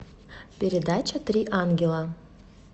передача три ангела